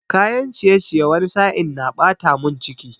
Kayan ciyeciye wani sa'in na ɓata mun ciki